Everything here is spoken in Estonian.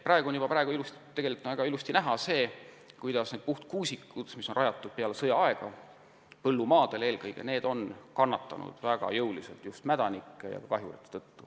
Praegu on tegelikult väga ilusasti näha, kuidas need puhtkuusikud, mis on rajatud pärast sõda eelkõige põllumaadele, on mädanike ja kahjurite tõttu väga jõuliselt kannatada saanud.